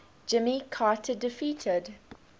jimmy carter defeated